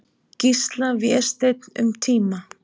Gísla, Vésteinn, um tíma.